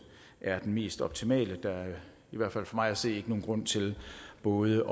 er den mest optimale der er i hvert fald for mig at se ikke nogen grund til både